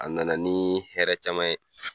A na na ni hɛrɛ caman ye.